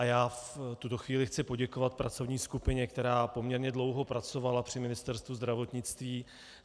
A já v tuto chvíli chci poděkovat pracovní skupině, která poměrně dlouho pracovala při Ministerstvu zdravotnictví.